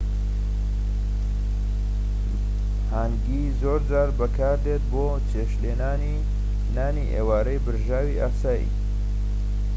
هانگی زۆرجار بەکاردێت بۆ چێشتلێنانی نانی ئێوارەی برژاوی ئاسایی